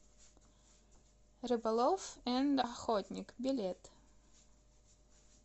рыболов энд охотник билет